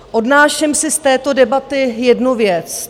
Odnáším si z této debaty jednu věc.